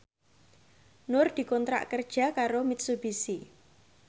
Nur dikontrak kerja karo Mitsubishi